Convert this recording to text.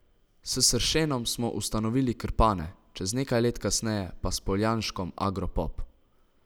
S Sršenom smo ustanovili Krpane, čez nekaj let kasneje pa s Poljanškom Agropop.